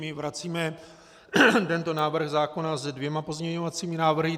My vracíme tento návrh zákona s dvěma pozměňovacími návrhy.